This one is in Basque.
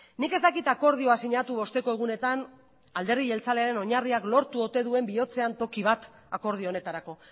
nik ez dakit akordioa sinatu osteko egunetan alderdi jeltzalearen oinarriak lortu ote duen bihotzean toki bat akordio honetarako